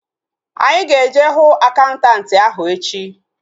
Anyị ga-eje hụ akaụntanti ahu echi